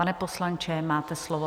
Pane poslanče, máte slovo.